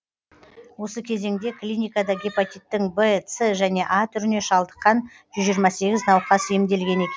осы кезеңде клиникада гепатиттің в с және а түріне шалдыққан жүз жиырма сегіз науқас емделген екен